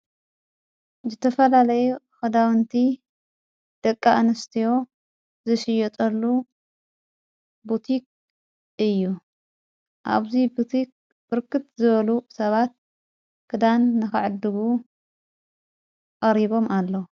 ዝተፈላለይ ኽዳውንቲ ደቂ እንስትዮ ዝሽዮጠሉ ቡቲኽ እዩ ኣብዙይ ብቱኽ ብርክት ዝበሉ ሰባት ክዳን ነኸዕድጉ ኣቀሪቦም ኣለዉ።